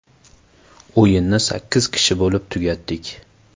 O‘yinni sakkiz kishi bo‘lib tugatdik.